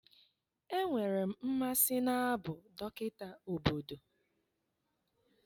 Enwere m mmasị n'abụ dọkịta obodo